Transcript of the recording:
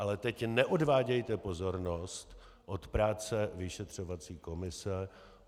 Ale teď neodvádějte pozornost od práce vyšetřovací komise.